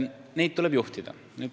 Neid tuleb juhtida.